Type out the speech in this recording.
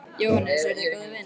Jóhannes: Eruð þið góðir vinir?